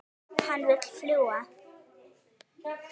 Hann vill fljúga.